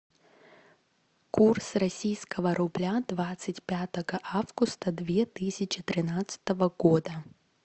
курс российского рубля двадцать пятого августа две тысячи тринадцатого года